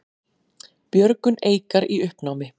Björgun Eikar í uppnámi